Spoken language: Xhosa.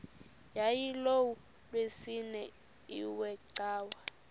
yayilolwesine iwe cawa